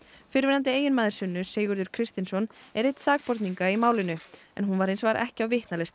fyrrverandi eiginmaður Sunnu Sigurður Kristinsson er einn sakborninga í málinu en hún var hins vegar ekki á